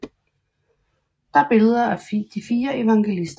Der er billeder af de fire evangelister